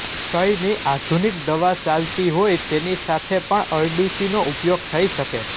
ક્ષયની આધુનિક દવા ચાલતી હોય તેની સાથે પણ અરડુસીનો ઉપયોગ થઈ શકે